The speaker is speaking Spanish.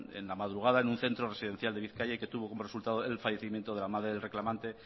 en la madrugada en un centro residencial de bizkaia y que tuvo como resultado el fallecimiento de la madre del reclamante